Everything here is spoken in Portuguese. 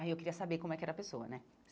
Aí eu queria saber como é que era a pessoa, né?